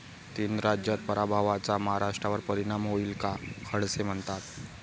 तीन राज्यात पराभवाचा महाराष्ट्रावर परिणाम होईल का? खडसे म्हणतात...